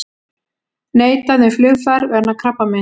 Neitað um flugfar vegna krabbameins